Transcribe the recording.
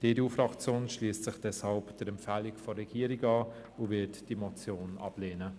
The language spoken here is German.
Die EDU-Fraktion schliesst sich deshalb der Empfehlung der Regierung an und wird diese Motion ablehnen.